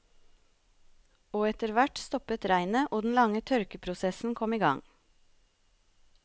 Og etter hvert stoppet regnet og den lange tørkeprosessen kom i gang.